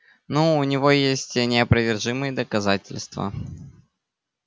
ну у него есть неопровержимые доказательства